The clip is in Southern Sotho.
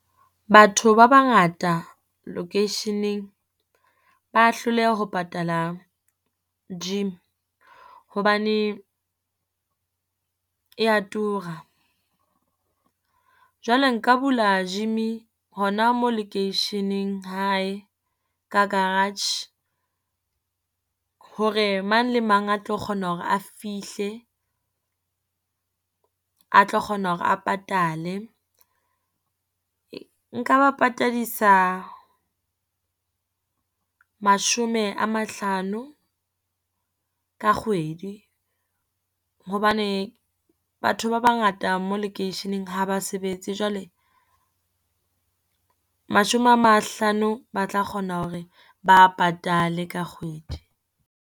Batho ba bangata lokeisheneng ba hloleha ho patala gym, hobane e ya tura. Jwale nka bula gym-i hona mo lekeisheneng hae ka garage, hore mang le mang a tlo kgona hore a fihle, a tlo kgona hore a patale. Nka ba patadisa mashome a mahlano ka kgwedi, hobane batho ba bangata mo lekeisheneng ha ba sebetse jwale, mashome a mahlano ba tla kgona hore ba a patale ka kgwedi.